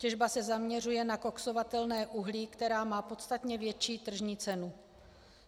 Těžba se zaměřuje na koksovatelné uhlí, které má podstatně větší tržní cenu.